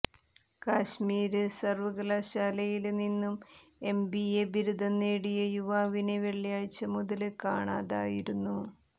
കശ്മീര് സര്വകലാശാലയില് നിന്നും എംബിഎ ബിരുദം നേടിയ യുവാവിനെ വെള്ളിയാഴ്ച മുതല് കാണാതായിരുന്നു